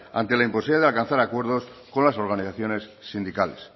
ante la imposibilidad de alcanzar acuerdos con las organizaciones sindicales